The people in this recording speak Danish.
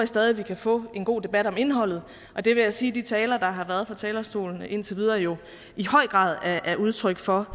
stadig vi kan få en god debat om indholdet og det vil jeg sige at de taler der har været fra talerstolen indtil videre jo i høj grad er udtryk for